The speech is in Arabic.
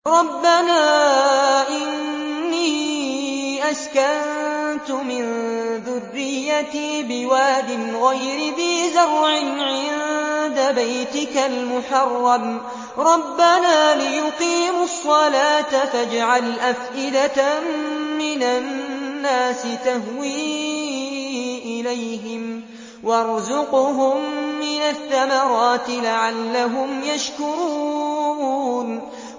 رَّبَّنَا إِنِّي أَسْكَنتُ مِن ذُرِّيَّتِي بِوَادٍ غَيْرِ ذِي زَرْعٍ عِندَ بَيْتِكَ الْمُحَرَّمِ رَبَّنَا لِيُقِيمُوا الصَّلَاةَ فَاجْعَلْ أَفْئِدَةً مِّنَ النَّاسِ تَهْوِي إِلَيْهِمْ وَارْزُقْهُم مِّنَ الثَّمَرَاتِ لَعَلَّهُمْ يَشْكُرُونَ